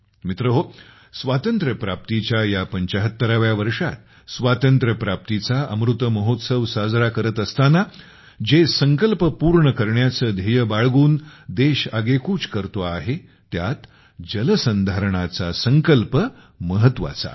मित्रहो स्वातंत्र्यप्राप्तीच्या या ७५ व्या वर्षात स्वातंत्र्यप्राप्तीचा अमृत महोत्सव साजरा करत असताना जे संकल्प पूर्ण करण्याची ध्येय बाळगून देश आगेकूच करतो आहे त्यात जलसंधारणाचा संकल्प महत्वाचा आहे